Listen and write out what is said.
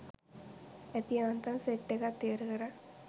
ඇති යාන්තම් සෙට් එකත් ඉවර කළා.